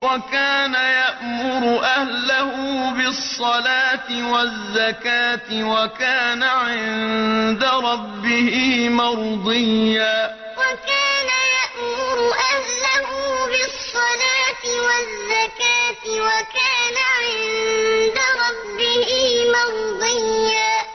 وَكَانَ يَأْمُرُ أَهْلَهُ بِالصَّلَاةِ وَالزَّكَاةِ وَكَانَ عِندَ رَبِّهِ مَرْضِيًّا وَكَانَ يَأْمُرُ أَهْلَهُ بِالصَّلَاةِ وَالزَّكَاةِ وَكَانَ عِندَ رَبِّهِ مَرْضِيًّا